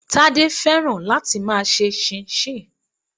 Tade fẹ́ràn láti máa ṣe chinchin.